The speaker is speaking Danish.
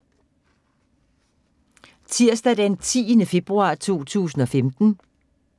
Tirsdag d. 10. februar 2015